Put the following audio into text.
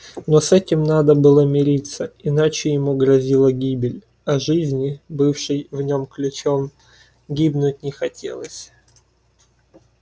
но с этим надо было мириться иначе ему грозила гибель а жизни бывшей в нём ключом гибнуть не хотелось